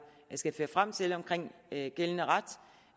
skal føre frem til omkring gældende ret